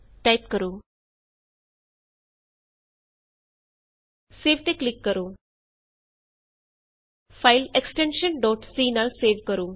type ਕਰੋ save ਤੇ click ਕਰੋ file extension C extension C ਨਾਲ ਸੇਵ ਕਰੋ